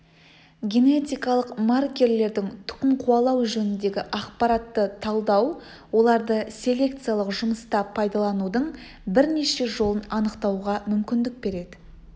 генетикалық маркерлердің тұқым қуалау жөніндегі ақпаратты талдау оларды селекциялық жұмыста пайдаланудың бірнеше жолын анықтауға мүмкіндік береді